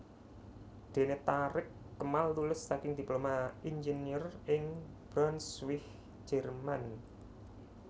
Dene Thareq Kemal lulus saking Diploma Inggeneur ing Braunsweig Jerman